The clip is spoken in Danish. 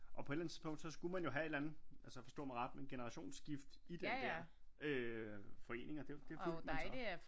Og på et eller andet tidspunkt skulle man jo have et eller andet altså forstå mig ret men generationsskift i den der øh forening og det fik man så